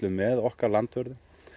með okkar landvörðum